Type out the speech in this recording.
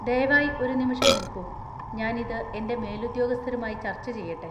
ദയവായി ഒരു നിമിഷം നിൽക്കൂ. ഞാൻ ഇത് എന്‍റെ മേലുദ്യോഗസ്ഥരുമായി ചർച്ച ചെയ്യട്ടെ.